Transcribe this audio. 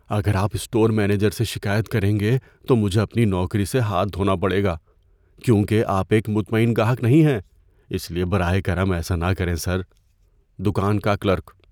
اگر آپ store manager سے شکایت کریں گے تو مجھے اپنی نوکری سے ہاتھ دھونا پڑے گا کیونکہ آپ ایک مطمئن گاہک نہیں ہیں، اس لیے براہ کرم ایسا نہ کریں، سر۔ (دوکان کا کلرک)